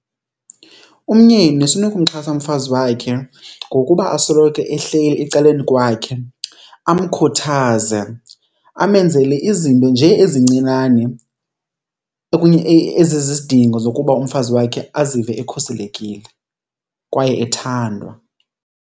Umyeni usenokumxhasa umfazi wakhe ngokuba asoloko ehleli ecaleni kwakhe, amkhuthaze, amenzele izinto nje ezincinane ezizizidingo zokuba umfazi wakhe azive ekhuselekile kwaye ethandwa.